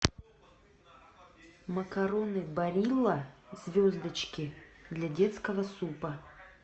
макароны барилла звездочки для детского супа